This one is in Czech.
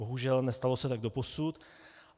Bohužel, nestalo se tak doposud.